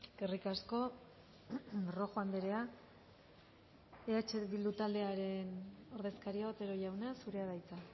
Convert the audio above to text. eskerrik asko rojo andrea eh bildu taldearen ordezkaria otero jauna zurea da hitza